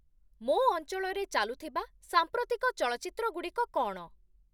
ମୋ ଅଞ୍ଚଳରେ ଚାଲୁଥିବା ସାମ୍ପ୍ରତିକ ଚଳଚ୍ଚିତ୍ର ଗୁଡିକ କ’ଣ?